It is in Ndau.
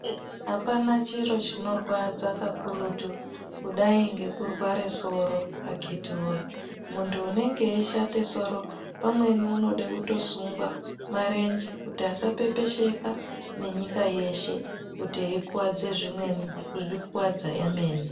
Apana chiro chinorwadza kakurutu ,kudai ngekurware soro akhitiwoye .Muntu unenge echishate soro pamweni unode kutosungwa marenje kuti asapepesheka nenyika yeshe kuti eikuwadze zvimweni nekuzvikuwadza emene.